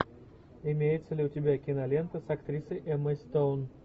имеется ли у тебя кинолента с актрисой эммой стоун